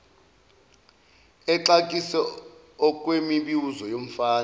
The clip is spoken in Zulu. exakise okwemibuzo yomfana